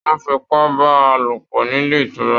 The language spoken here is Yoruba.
Wọn f'ipa bá a lopọ nílé ìtura.